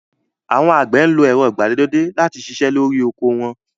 Àwọn àgbẹ̀ máa ń lo ẹ̀rọ ìgbàlódé láti ṣiṣẹ́ lórí oko wọn